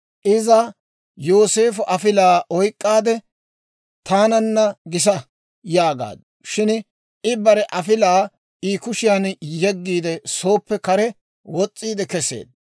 Iza Yooseefo afilaa oyk'k'aadde, «Taananna gisa» yaagaaddu. Shin I bare afilaa I kushiyaan yeggiide, sooppe kare wos's'iide kesseedda.